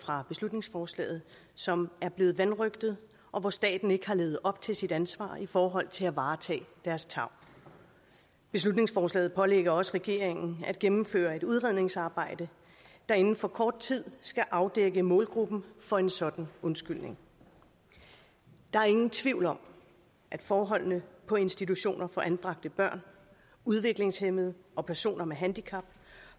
fra beslutningsforslaget som er blevet vanrøgtet og hvor staten ikke har levet op til sit ansvar i forhold til at varetage deres tarv beslutningsforslaget pålægger også regeringen at gennemføre et udredningsarbejde der inden for kort tid skal afdække målgruppen for en sådan undskyldning der er ingen tvivl om at forholdene på institutioner for anbragte børn udviklingshæmmede og personer med handicap